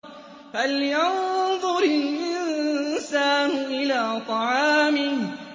فَلْيَنظُرِ الْإِنسَانُ إِلَىٰ طَعَامِهِ